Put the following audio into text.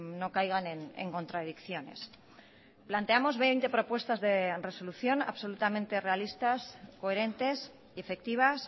no caigan en contradicciones planteamos veinte propuestas de resolución absolutamente realistas coherentes y efectivas